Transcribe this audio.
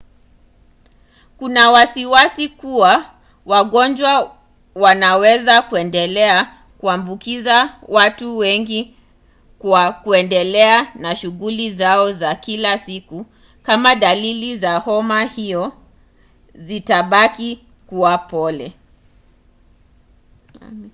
kuna wasiwasi kuwa wagonjwa wanaweza kuendelea kuambukiza watu wengi kwa kuendelea na shughuli zao za kila siku kama dalili za homa hiyo zitabaki kuwa pole